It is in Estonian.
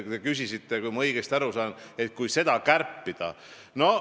Te küsisite, kui ma õigesti aru sain, et kui seda kärpida.